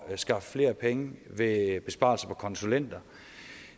skaffe flere penge ved besparelser på konsulenter